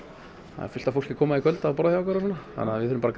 það er fullt af fólki að koma í kvöld og borða hjá okkur þannig að við þurfum bara